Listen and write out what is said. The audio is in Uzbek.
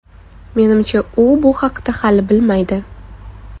Menimcha u bu haqida hali bilmaydi.